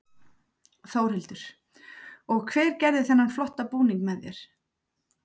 Þórhildur: Og hver gerði þennan flotta búning með þér?